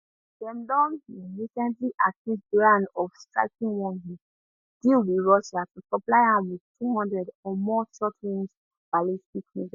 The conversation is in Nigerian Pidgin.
dem don um recently accuse iran of striking one um deal wit russia to supply am wit 200 or more shortrange ballistic missiles